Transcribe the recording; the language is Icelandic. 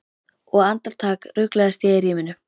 Og andartak ruglast ég í ríminu.